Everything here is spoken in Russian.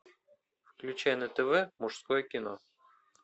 включай на тв мужское кино